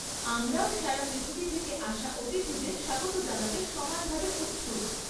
আমরাও সারা পৃথিবী থেকে আসা অতিথিদের স্বাগত জানাতে সমানভাবে উৎসুক।